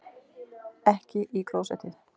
Ekki í klósettið.